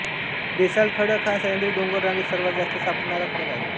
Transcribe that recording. basalt खडक हा सह्याद्री डोंगररांगेत सर्वात जास्त सापडणारा खडक आहे